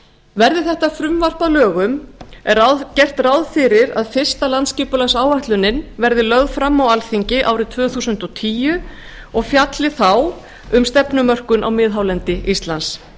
verði þetta frumvarp að lögum er gert ráð fyrir að fyrsta landsskipulagsáætlunin verði lögð fram á alþingi árið tvö þúsund og tíu og fjalli þá um stefnumörkun á miðhálendi íslands